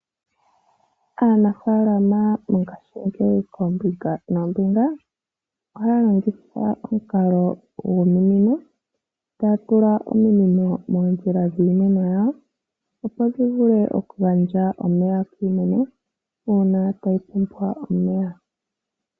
Aanafalama mongashiingeyi koombinga noombinga ohaya longitha omukalo gwominino, taya tula ominino moondjila dhiimeno yawo , opo dhi vule okugandja omeya kiimeno uuna tayi pumbwa omeya.